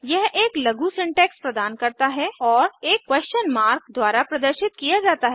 यह एक लघु सिंटैक्स प्रदान करता है और एक क्वेश्चन मार्क प्रश्नचिन्ह द्वारा प्रदर्शित किया जाता है